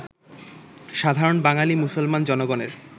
সাধারণ বাঙালী মুসলমান জনগণের